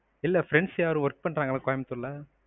இல்ல friends யாரும் work பண்றங்களா கோயம்புத்தூர்ல?